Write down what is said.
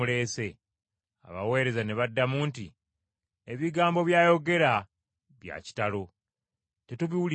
Abaweereza ne baddamu nti, “Ebigambo by’ayogera bya kitalo, tetubiwulirangako.”